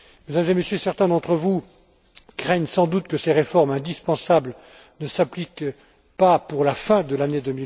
Mesdames et Messieurs, certains d'entre vous craignent sans doute que ces réformes indispensables ne s'appliquent pas pour la fin de l'année